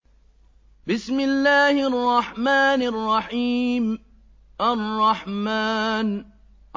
الرَّحْمَٰنُ